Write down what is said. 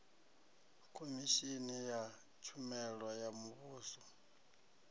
khomishini ya tshumelo ya muvhuso